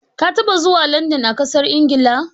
Ka taba zuwa Landan a ƙasar Ingila?